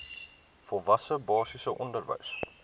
volwasse basiese onderwys